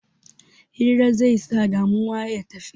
Hira zai sa damuwa ya tafi